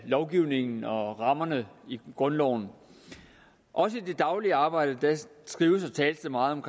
lovgivningen og rammerne i grundloven også i det daglige arbejde skrives og tales der meget om